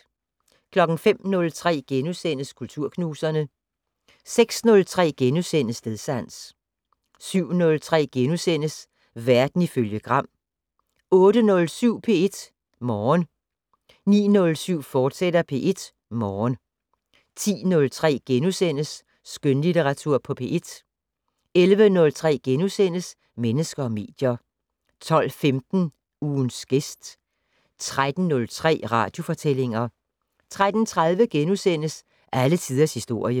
05:03: Kulturknuserne * 06:03: Stedsans * 07:03: Verden ifølge Gram * 08:07: P1 Morgen 09:07: P1 Morgen, fortsat 10:03: Skønlitteratur på P1 * 11:03: Mennesker og medier * 12:15: Ugens gæst 13:03: Radiofortællinger 13:30: Alle tiders historie *